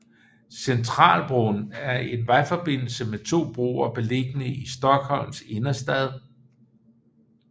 Centralbron er en vejforbindelse med to broer beliggende i Stockholms innerstad